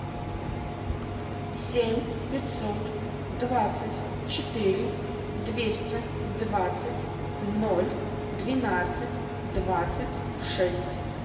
семь пятьсот двадцать четыре двести двадцать ноль двенадцать двадцать шесть